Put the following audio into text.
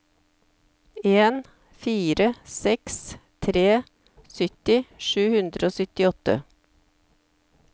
en fire seks tre sytti sju hundre og syttiåtte